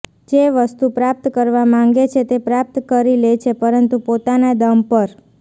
જે વસ્તુ પ્રાપ્ત કરવા માંગે છે તે પ્રાપ્ત કરી લે છે પરંતુ પોતાના દમ પર